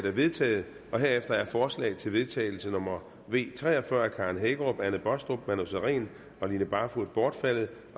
er vedtaget herefter er forslag til vedtagelse nummer v tre og fyrre af karen hækkerup anne baastrup manu sareen og line barfod bortfaldet